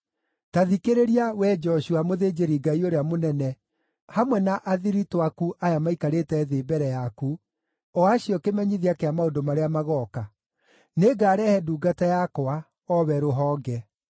“ ‘Ta thikĩrĩria, wee Joshua, mũthĩnjĩri-Ngai ũrĩa mũnene, hamwe na athiritũ aku aya maikarĩte thĩ mbere yaku, o acio kĩmenyithia kĩa maũndũ marĩa magooka: Nĩngarehe ndungata yakwa, o we Rũhonge.’